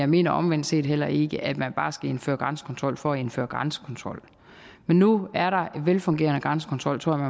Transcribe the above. mener omvendt set heller ikke at man bare skal indføre grænsekontrol for at indføre grænsekontrol men nu er der en velfungerende grænsekontrol tror jeg